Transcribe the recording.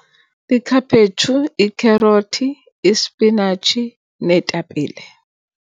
lkhaphetshu, ikherothi, ispinatshi, neetapile.